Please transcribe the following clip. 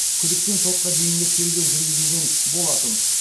күдікпен сотқа дейінгі тергеу жүргізілген болатын